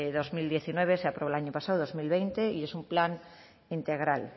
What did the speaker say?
dos mil diecinueve dos mil veinte se aprobó el año pasado y es un plan integral